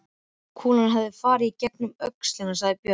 Kúlan hefur farið í gegnum öxlina, sagði Björn.